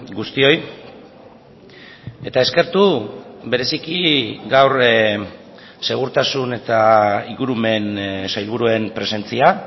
guztioi eta eskertu bereziki gaur segurtasun eta ingurumen sailburuen presentzia